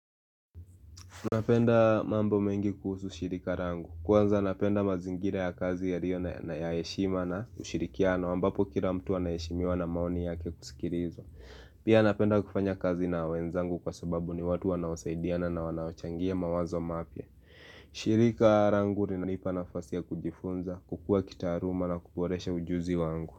Napenda mambo mengi kuhusu shirika langu. Kwanza napenda mazingira ya kazi yalio na ya heshima na kushirikiana ambapo kila mtu anaheshimiwa na maoni yake kusikilizwa. Pia napenda kufanya kazi na wenzangu kwa sababu ni watu wanaosaidiana na wanaochangia mawazo mapya. Shirika langu linalipa nafasi ya kujifunza, kukua kitaaluma na kuboresha ujuzi wangu.